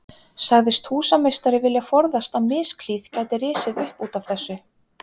Sagðist húsameistari vilja forðast að misklíð gæti risið upp út af þessu.